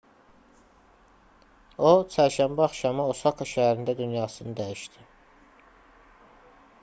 o çərşənbə axşamı osaka şəhərində dünyasını dəyişdi